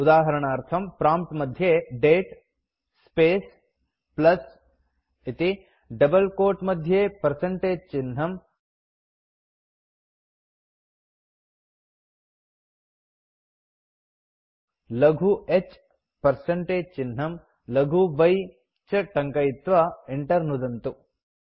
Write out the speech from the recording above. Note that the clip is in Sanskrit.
उदाहरणार्थं प्रॉम्प्ट् मध्ये दते स्पेस् प्लस् इति डबल क्वोट मध्ये पर्सेन्टेज चिह्नं लघु h पर्सेन्टेज चिह्नं लघु y इति च टङ्कयित्वा enter नुदन्तु